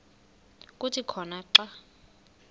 kuthi khona xa